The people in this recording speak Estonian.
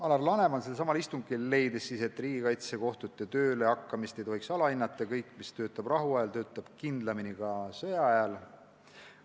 Alar Laneman leidis selsamal istungil, et riigikaitsekohtute töölehakkamist ei tohiks alahinnata – kõik, mis töötab rahuajal, töötab kindlamini ka sõjaajal.